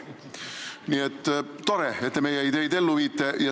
Nii et tore, et te meie ideid ellu viite.